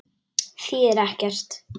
Þýðir ekkert.